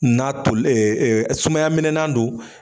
N'a tol sumaya minɛnan don.